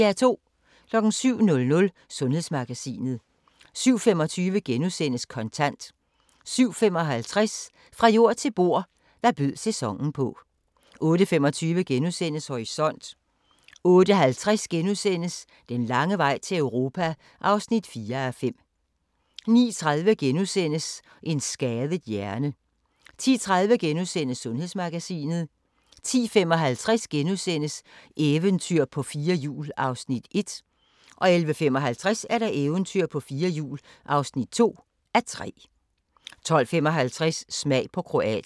07:00: Sundhedsmagasinet 07:25: Kontant * 07:55: Fra jord til bord: Hvad bød sæsonen på 08:25: Horisont * 08:50: Den lange vej til Europa (4:5)* 09:30: En skadet hjerne * 10:30: Sundhedsmagasinet * 10:55: Eventyr på fire hjul (1:3)* 11:55: Eventyr på fire hjul (2:3) 12:55: Smag på Kroatien